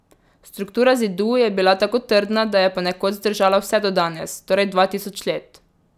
Struktura zidu je bila tako trdna, da je ponekod zdržala vse do danes, torej dva tisoč let.